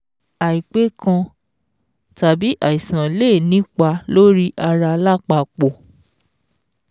Àìpé kan tàbí àìsàn lè nípa lórí ara lápapọ̀.